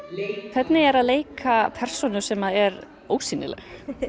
hvernig er að leika persónu sem er ósýnileg